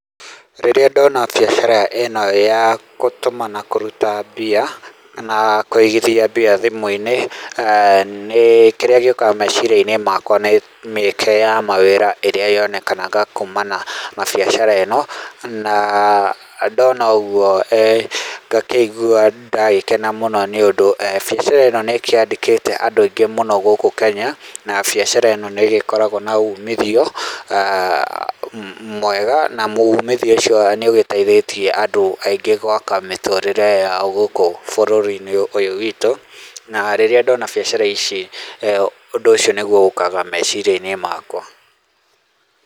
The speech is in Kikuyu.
Rĩrĩa ndona biacara ĩno ya gũtũma na kũruta mbia, na kũigithia mbia thimũ-inĩ, kĩrĩa gĩũkaga meciria-inĩ makwa nĩ mĩeke ya mawĩra ĩrĩa yonekanaga kumana na biacara ĩno. Na ndona ũguo ngakĩigua ndagĩkena mũno nĩ ũndũ biacara ĩno nĩkĩandĩkĩte andũ aingĩ mũno gũkũ Kenya na biacara ĩno nĩ ĩgĩkoragwo na uumithio mwega na uumithio ũcio nĩ ũgĩteithĩtie andũ aingĩ gwaka mĩtũrĩre yao gũkũ bũrũri-inĩ ũyũ witũ. Na rĩrĩa ndona biacara ici, ũndũ ũcio nĩguo ũkaga meciria-inĩ makwa.